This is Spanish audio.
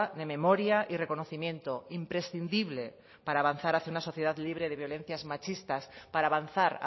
de memoria y reconocimiento imprescindible para avanzar hacia una sociedad libre de violencias machistas para avanzar